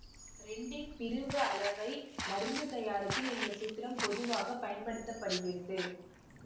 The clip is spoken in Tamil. ரெண்டின் பிரிவு அளவை மருத்து தயாரிப்பில் இந்த சூத்திரம் பொதுவாக பயன்படுத்த படுகிறது